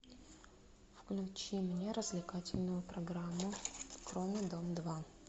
включи мне развлекательную программу кроме дом два